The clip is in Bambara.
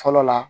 Fɔlɔ la